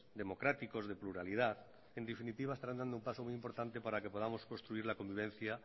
democráticos de pluralidad en definitiva estarán dando un paso muy importante para que podamos construir la convivencia